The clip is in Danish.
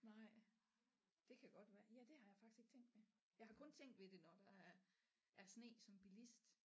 Nej det kan godt være ja det har jeg faktisk ikke tænkt ved jeg har kun tænkt ved det når der er er sne som bilist